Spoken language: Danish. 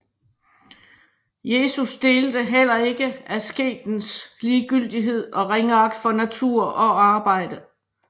Jesus delte heller ikke asketens ligegyldighed og ringeagt for natur og arbejde